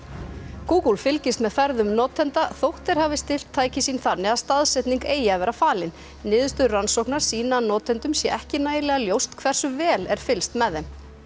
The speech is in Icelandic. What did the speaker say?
Google fylgist með ferðum notenda þótt þeir hafi stillt tæki sín þannig að staðsetning eigi að vera falin niðurstöður rannsóknar sýna að notendum sé ekki nægilega ljóst hversu vel er fylgst með þeim